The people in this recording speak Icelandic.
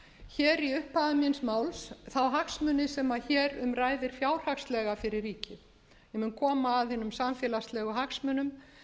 hér í upphafi míns máls þá hagsmuni sem hér um ræðir fjárhagslega fyrir ríkið ég mun koma að hinum samfélagslegu hagsmunum